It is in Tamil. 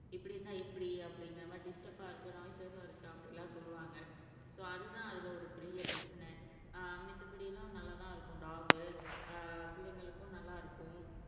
இப்படி இருந்தா எப்படி அப்படிங்கிற மாதிரி டிஸ்டர்ப்பா இருக்கு நாய்சஸா இருக்கு அப்படி எல்லாம் சொல்லுவாங்க சோ, அது தான் அதுல ஒரு பெரிய பிரச்சனை அஹ் மித்தபடி எல்லாம் நல்லாத் தான் இருக்கும் டாக் அஹ் பிள்ளைங்களுக்கும் நல்லா இருக்கும்